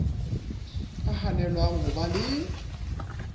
ka hanelwang ho ba le